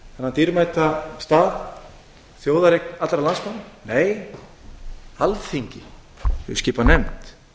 þennan dýrmæta stað þjóðareign allra landsmanna nei alþingi hefur skipað nefnd